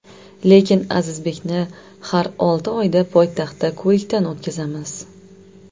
Lekin Azizbekni har olti oyda poytaxtda ko‘rikdan o‘tkazamiz.